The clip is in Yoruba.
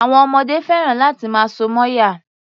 Àwọn ọmọdé fẹ́ràn láti máa so mọ́yàn.